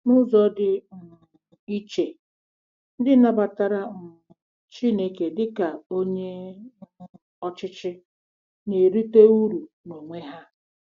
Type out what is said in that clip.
N'ụzọ dị um iche, ndị nabatara um Chineke dị ka Onye um Ọchịchị na-erite uru n'onwe ha.